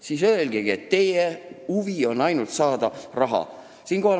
Siis öelgegi, et teie huvi on ainult raha saada.